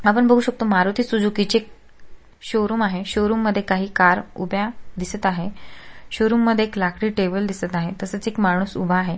आपण बघु शकतो मारुती सुझुकी चे एक शोरुम आहे शोरुम मध्ये काही कार उभ्या दिसत आहे शोरुम मध्ये एक लाकडी टेबल दिसत आहे तसेच एक माणुस उभा आहे.